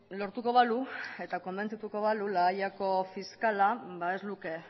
lortuko balu eta konbentzituko balu la hayako fiskala ez luke